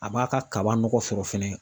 A b'a ka kaba nɔgɔ fɔrɔ fɛnɛ.